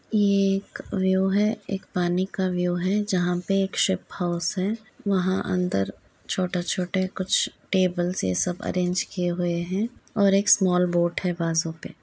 ये एक व्यू है एक पानी का व्यू है जहाँ पे शिप हाउस है वहाँ अन्दर छोटे-छोटे कुछ टेबल्स ये सब अरेंज किये हुए हैं और एक स्मॉल बोट है बाजू पे --